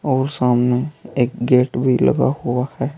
और सामने एक गेट भी लगा हुआ है।